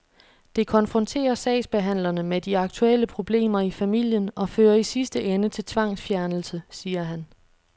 Det konfronterer sagsbehandlerne med de aktuelle problemer i familien og fører i sidste ende til tvangsfjernelse, siger han.